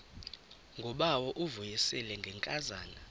ngubawo uvuyisile ngenkazana